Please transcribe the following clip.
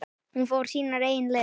Hún fór sínar eigin leiðir.